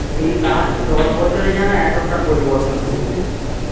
এই last দশ বছরে যেন এতটা পরিবর্তন হয়েগেছে